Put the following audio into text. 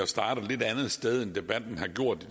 starte et lidt andet sted end debatten har gjort i